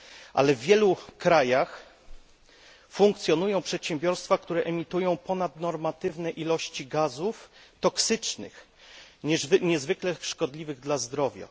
Ale w wielu krajach funkcjonują przedsiębiorstwa, które emitują ponadnormatywne ilości gazów toksycznych, niezwykle szkodliwych dla zdrowia.